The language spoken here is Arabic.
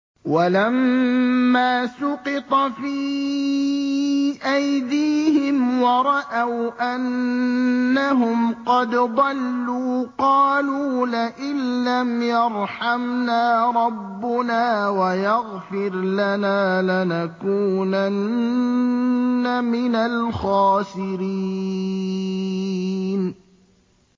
وَلَمَّا سُقِطَ فِي أَيْدِيهِمْ وَرَأَوْا أَنَّهُمْ قَدْ ضَلُّوا قَالُوا لَئِن لَّمْ يَرْحَمْنَا رَبُّنَا وَيَغْفِرْ لَنَا لَنَكُونَنَّ مِنَ الْخَاسِرِينَ